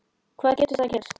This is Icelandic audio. Hvað getur það gert?